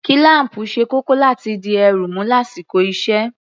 Kílám̀pù ṣe kókó láti dí èérún mú lásìkò iṣẹ́